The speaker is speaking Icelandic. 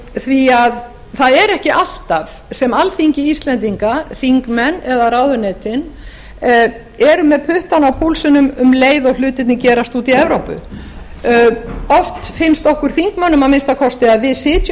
því að það er ekki alltaf sem alþingi íslendinga þingmenn eða ráðuneytin eru með puttann á púlsinum um leið og hlutirnir gerast úti í evrópu oft finnst okkur þingmönnum að minnsta kosti að við sitjum